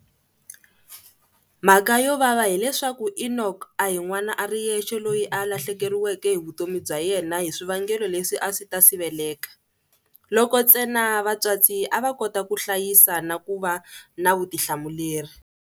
Mhaka yo vava hileswaku Enock a hi n'wana a ri yexe loyi a lahlekeriweke hi vutomi bya yena hi swivangelo leswi a swi ta siveleka, loko ntsena vatswatsi a va kota ku hlayisa na ku va na vutihlamuleri.